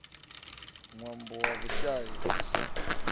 ṅwambo wa vhushai u sa